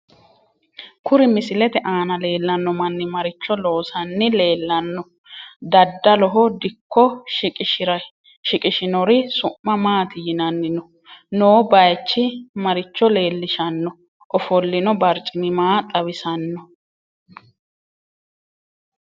Kuri misilete aana leelanno manni maricho loosanni leelanno daddaloho dikko shiqishirinori su'ma maati yinanni noo bayiichi maricho leelishanno ofolinno barcimi maa xawisanno